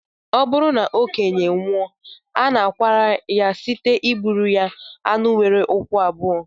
Ọ bụrụ na okenye nwụọ, a na-akwa ya site n'igbupụrụ ya anụ nwere ụkwụ anọ